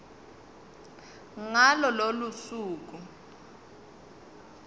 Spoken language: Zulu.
ngalo lolo suku